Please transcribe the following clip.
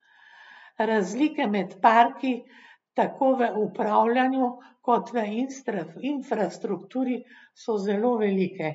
Razlike med parki, tako v upravljanju kot v infrastrukturi, so zelo velike.